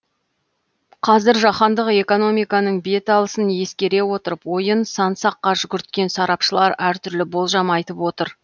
қазір жаһандық экономиканың бет алысын ескере отырып ойын сан саққа жүгірткен сарапшылар әр түрлі болжам айтып отыр